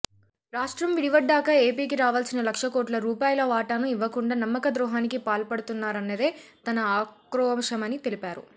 రాష్ట్రం విడివడ్డాక ఏపీకి రావాల్సిన లక్ష కోట్ల రూపాయల వాటాను ఇవ్వకుండా నమ్మక ద్రోహానికి పాల్పడుతున్నారన్నదే తన ఆక్రోశమని తెలిపారు